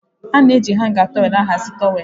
A na eji hangà tọwelụ ahazi towelụ.